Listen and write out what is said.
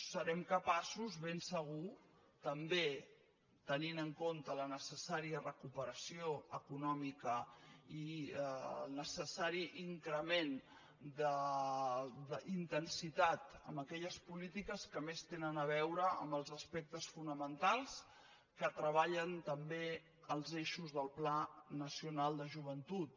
serem capaços ben segur també tenint en compte la necessària recuperació econòmica i el necessari increment d’intensitat en aquelles polítiques que més tenen a veure amb els aspectes fonamentals que treballen també els eixos del pla nacional de joventut